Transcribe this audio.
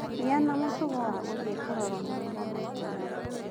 Gĩa na mũtugo wa gũthĩĩ kũrorwo magego maita maingĩ